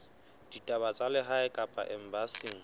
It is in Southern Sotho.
ditaba tsa lehae kapa embasing